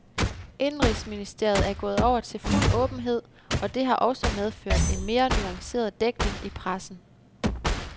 Indenrigsministeriet er gået over til fuld åbenhed, og det har også medført en mere nuanceret dækning i pressen.